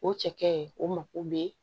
O cɛkɛ o mako bɛ